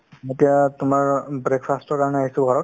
এতিয়া তোমাৰ অ breakfast ৰ কাৰণে আহিছো ঘৰত